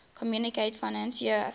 communaute financiere africaine